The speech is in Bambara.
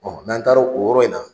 n'an taara o yɔrɔ in na